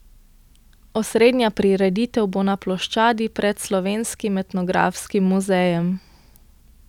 Osrednja prireditev bo na ploščadi pred Slovenskim etnografskim muzejem.